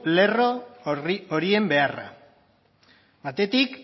lerro horien beharra batetik